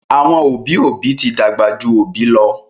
àwọn obì obì tí dàgbà jù àwọn obì lọ